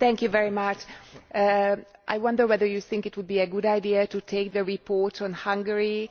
I wonder whether you think it would be a good idea to take the report on Hungary,